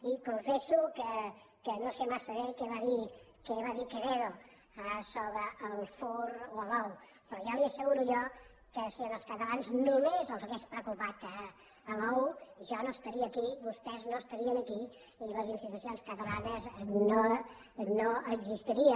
i confesso que no sé massa bé què va dir quevedo sobre el fur o l’ou però ja li asseguro jo que si als catalans només els hagués preocupat l’ou jo no estaria aquí vostès no estarien aquí i les institucions catalanes no existirien